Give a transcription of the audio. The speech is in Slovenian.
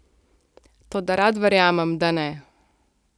Toda rad verjamem, da ne.